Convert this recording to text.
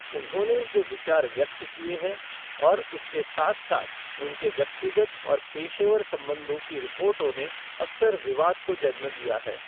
उन्होंने जो विचार व्यक्त किए हैं, और उसके साथ साथ उनके व्यक्तिगत और पेशेवर संबंधों की रिपोर्टों ने अक्सर विवाद को जन्म दिया है।